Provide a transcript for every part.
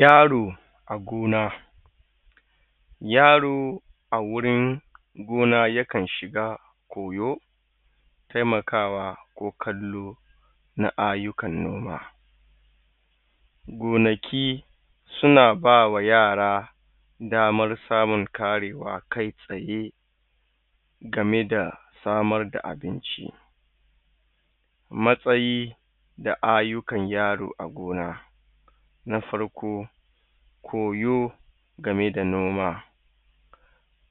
yaro agona yaro a gurun gona yakan shiga koyo temakawa ko kallo na ai yukan noma gonaki suna bama yara daman samun karewa kai tsaye gameda samar da abinci matsayi da aiyukan yaro a gona na farko koyo game da noma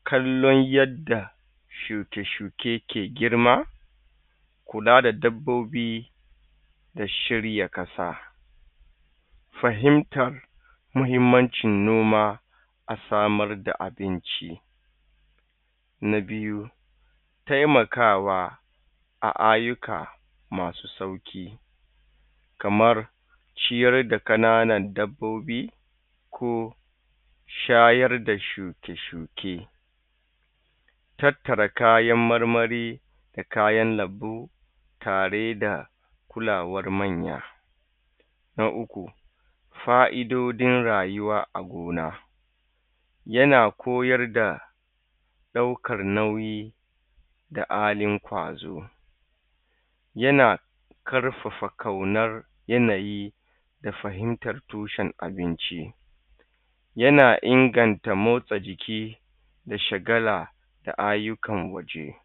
kallon yadda shuke shuke yake girma kula da dabbobi da shirya ƙasa fahimta mahimmancin noma asamar da abinci na biyu temakawa a aiyuka masu sauƙi kamar ciyar da ƙananan dabbobi ko shayar da shuke shuke tattara kayan marmari da kaya lambu tare da kulawar manya na uku fa idodin rayuwa a gona yana koyarda ɗaukan nauyi da halin kwazo yana ƙarfafa ƙaunan yanayi da fahimtar tushen abinci yana inganta motsa jiki da sha gala da aiyukan waje